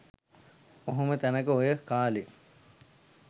ඔහොම තැනක ඔය කාලේ .